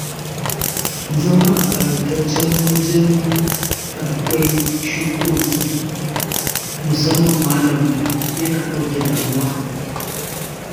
Zama a ƙayataccen wajen da akwai shukoki musamman lambu yana ɗauke damuwa